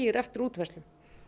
eftir útfærslunni